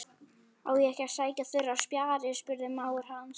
Á ég ekki að sækja þurrar spjarir? spurði mágur hans.